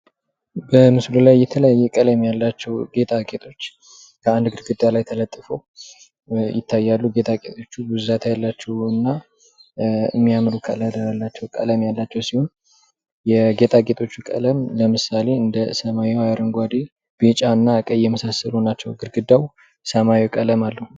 በምስሉ ላይ የተለያዩ ቀለም ያላቸው ገጣጌጦች አንድ ግድግዳ ላይ ተለጥፈው ይታያሉ። ገጣጌጦቹ ብዛት ያላቸውና የሚያምር ቀለም ያላቸው ሲሆን የጌጣጌጦቹ ቀለም እንደ አረንጓዴ፣ ቢጫ እና ቀይ ግድግዳው ሰማያዊ ቀለም አለው።